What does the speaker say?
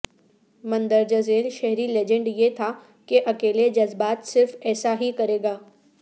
مندرجہ ذیل شہری لیجنڈ یہ تھا کہ اکیلے جذبات صرف ایسا ہی کرے گا